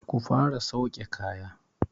Ku fara sauke kaya!